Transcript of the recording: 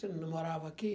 Você não morava aqui?